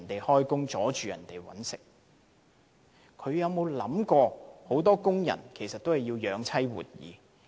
他們有沒有想過很多工人也要養妻活兒？